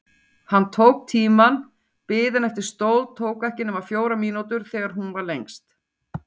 Hann tók tímann: biðin eftir stól tók ekki nema fjórar mínútur þegar hún var lengst.